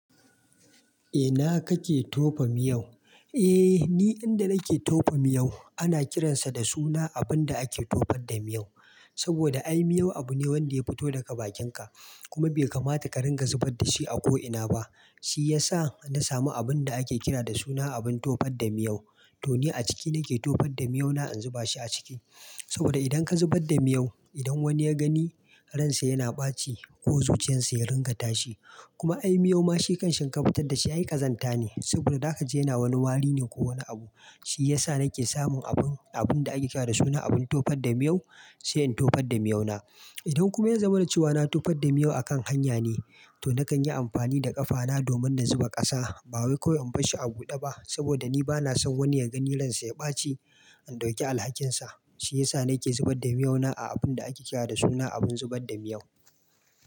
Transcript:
Ina kake tofa miyau?" Eh ni inda nake tofa miyau ana kiransa da suna abun da ake tofar da miyau. Saboda ai miyau abu ne wanda ya fito daga bakinka kuma bai kamata ka ringa zubar da shi a ko ina ba. Shi ya sa na samu abun da ake kira da suna abun tofar da miyau. To ni a ciki nake tofar da miyau na, in zuba shi a ciki. Saboda idan ka zubar da miyau, idan wani ya gani, ransa yana ɓaci ko zuciyarsa ya ringa tashi. Kuma ai miyau ma shi kanshi in ka fitar dashi shi ai kazanta ne, saboda za ka je ina wani wari ne ko wani abu. Shi yasa nake sumun abun, abun da ake cewa da suna abin tofar da miyau, sai in tofar da miyau na. Idan kuma ya zama na cewa na tofar da miyau a kan hanya ne, to na kan yi amfani da ƙafana domin na zuba ƙasa. Ba wai kawai in bar shi a buɗe ba saboda ni bana son wani ya gani ransa ya ɓaci, in ɗauki alhakinsa. Shi ya sa nake zubar da miyau na a abun da ake kira da suna abun zubar da miyau.